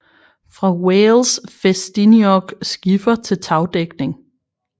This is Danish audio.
Fra Wales Ffestiniog skifer til tagdækning